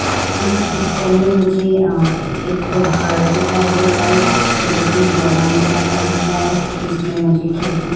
इस पिक्चर में मुझे अ एक घर दिखाई दे रहा है जोकि दो मंजिला का दिख रहा है। इसमें मुझे खिड़की --